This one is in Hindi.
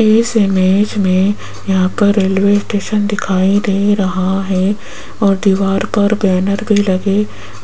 इस इमेज में यहाँ पर रेलवे स्टेशन दिखाई दे रहा है और दीवार पर बैनर भी लगे